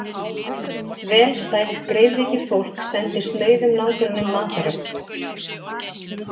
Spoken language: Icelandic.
Vel stætt greiðvikið fólk sendi snauðum nágrönnum matarögn.